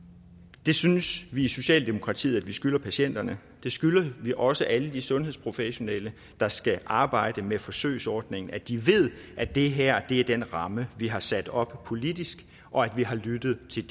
det synes vi i socialdemokratiet at vi skylder patienterne det skylder vi også alle de sundhedsprofessionelle der skal arbejde med forsøgsordningen altså at de ved at det her er den ramme vi har sat op politisk og at vi har lyttet til